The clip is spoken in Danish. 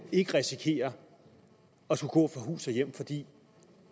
ikke risikerer at skulle gå fra hus og hjem fordi